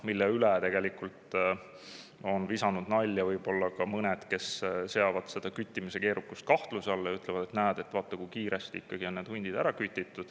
Selle üle on visanud nalja võib-olla ka mõned, kes seavad küttimise keerukuse kahtluse alla ja ütlevad, et näed, vaata, kui kiiresti need hundid on ära kütitud.